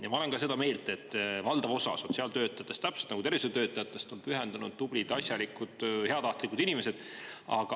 Ja ma olen ka seda meelt, et valdav osa sotsiaaltöötajatest täpselt nagu tervishoiutöötajatest on pühendunud, tublid, asjalikud, heatahtlikud inimesed.